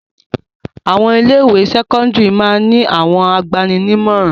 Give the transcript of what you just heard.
Àwọn ilé-ìwé sẹ́kọ́ndárì máa ń ní àwọn agbani-nímọ̀ràn.